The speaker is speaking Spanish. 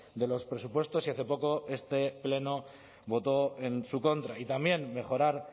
de los presupuestos y hace poco este pleno votó en su contra y también mejorar